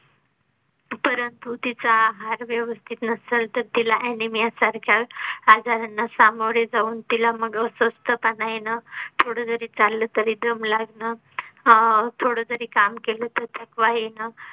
परंतु तिचा आहार व्यवस्थित नसेल तर तिला anemia सारख्या आजारांना सामोरे जाऊन तिला मग अस्वस्थ पना येन थोडे जरी चालले तरी दम लागणं अह थोडं जरी काम केले तरी थकवा येन